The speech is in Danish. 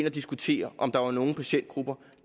og diskuterede om der er nogle patientgrupper